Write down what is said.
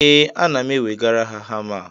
ee, ana m ewegara ya hama a